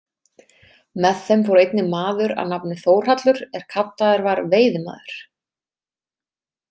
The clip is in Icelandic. Með þeim fór einnig maður að nafni Þórhallur er kallaður var veiðimaður.